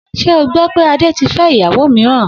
S̩e o gbó̩ wí pé Ade ti fé̩ ìyàwó mìíràn?